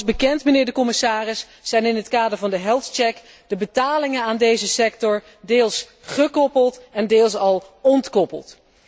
Zoals bekend, mijnheer de commissaris, zijn in het kader van de de betalingen aan deze sector deels gekoppeld en deels al ontkoppeld.